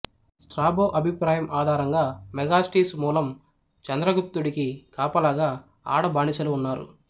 Strabo అభిప్రాయం ఆధారంగా Megasthenes మూలం చంద్రగుప్తుడికి కాపలాగా ఆడ బానిసలు ఉన్నారు